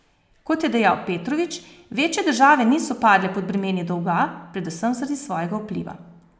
Kot je dejal Petrovič, večje države niso padle pod bremeni dolga, predvsem zaradi svojega vpliva.